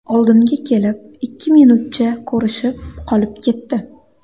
Oldimga kelib, ikki minutcha ko‘rishib qolib ketdi.